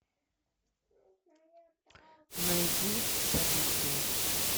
найди событие